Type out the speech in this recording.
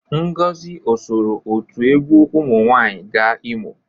Ngozi o soro otu egwu ụmụ nwaanyị ga Imo?